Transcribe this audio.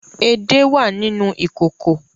Ede wà nínú ìkòkò